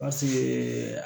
Pasike